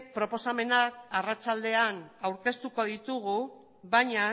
proposamenak arratsaldean aurkeztuko ditugu baina